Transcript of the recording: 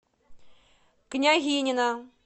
княгинино